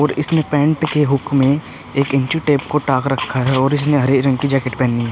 और इसने पैंट के हुक में एक इंची टेप को टाक रखा है और इसने हरे रंग की जैकेट पहनी --